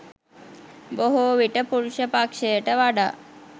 බොහෝ විට පුරුෂ පක්‍ෂයට වඩා